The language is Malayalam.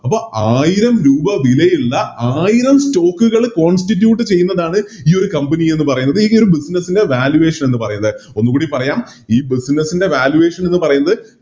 അപ്പോം ആയിരം രൂപ വിലയിള്ള ആയിരം Stock കൾ Constitute ചെയ്യുന്നതാണ് ഈയൊരു Company ന്ന് പറയുന്നത് ഈയൊരു Business ലെ Valuation എന്ന് പറയുന്നത് ഒന്നുകൂടി പറയാം ഈ Business ൻറെ Valuation എന്ന് പറയുന്നത്